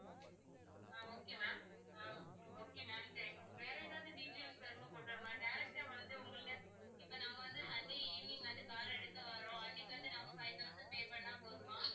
ஆஹ் okay ma'am ஆஹ் okay ma'am thank you வேற ஏதாவது details வரும்போது கொண்டு வரணுமா direct ஆ வந்து உங்ககிட்ட இப்போ நாங்க வந்து sunday evening வந்து car அ எடுக்க வர்றோம் அன்னைக்கு வந்து நாங்க five thousand pay பண்ணா போதுமா?